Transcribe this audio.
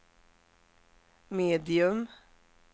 medium